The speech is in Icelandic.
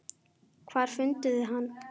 Hvar funduð þið hann?